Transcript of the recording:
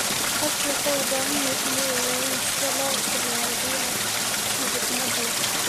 Dadku waxay u baahan yihiin inay ogaadaan sida loo isticmaalo biyaha si xikmad leh.